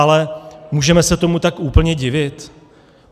Ale můžeme se tomu tak úplně divit?